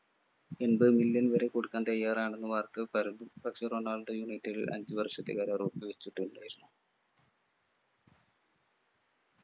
എൺപതു million വരെ കൊടുക്കാൻ തയ്യാറാണെന്ന് വാർത്തകൾ പരന്നു പക്ഷേ റൊണാൾഡോ united ൽ അഞ്ചുവർഷത്തെ കരാർ ഒപ്പു വച്ചിട്ടുണ്ടായിരുന്നു